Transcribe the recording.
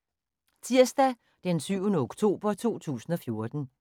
Tirsdag d. 7. oktober 2014